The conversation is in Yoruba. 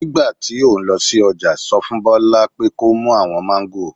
Nígbà tí o ń lọ sí ọjà sọ fún Bola pé kó mú àwọn Mangos